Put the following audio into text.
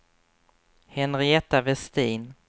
Henrietta Westin